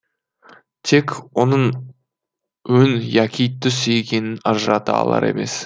тек оның өң яки түс екенін ажырата алар емес